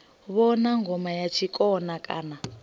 vhona ngoma ya tshikona kana